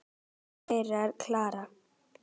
Dóttir þeirra er Klara.